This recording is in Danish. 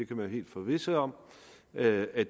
kan være helt forvisset om at at